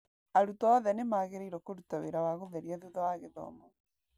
Arutwo othe nĩ magĩrĩirwo kũruta wĩra wa gũtheria thutha wa gĩthomo.